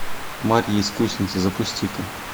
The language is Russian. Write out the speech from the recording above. марья искусница запусти ка